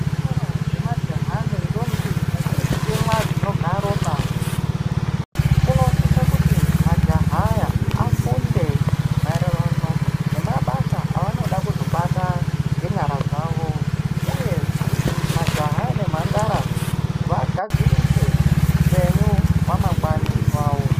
Zvikora zvemajaha nendombi vachiri kutemwa dzinobva ropa unosise kuti majaha aya apfunde maererano nemabasa avanoda kuzobata ngenyara dzavo, uye kuti majaha nemhandara vagadzirise upenyu hwamangwani vavo.